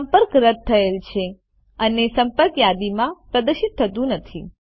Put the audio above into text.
સંપર્ક રદ થયેલ છે અને સંપર્ક યાદીમાં પ્રદર્શિત થતું નથી